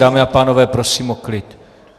Dámy a pánové, prosím o klid.